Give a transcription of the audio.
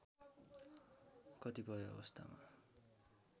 कतिपय अवस्थमा